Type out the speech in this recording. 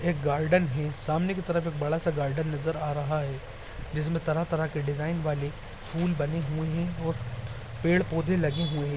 एक गार्डन है । सामने की तरफ बड़ा सा गार्डन नजर आ रहा है जिसमें तरह तरह के डिज़ाइन वाले फूल बने हुए और पेड़ पौधे लगे हुए है।